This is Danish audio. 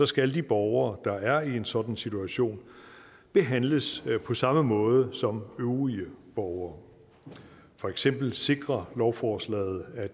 skal de borgere der er i en sådan situation behandles på samme måde som øvrige borgere for eksempel sikrer lovforslaget at